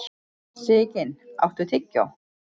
Sigyn, áttu tyggjó?